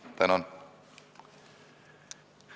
Tänan!